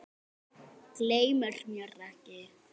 Gleymir mér ekki.